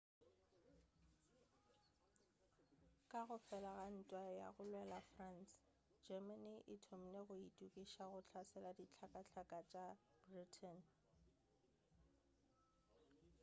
ka go fela ga ntwa ya go lwela france germany e thomile go eithokišetša go hlasela dihlakahlaka tša britain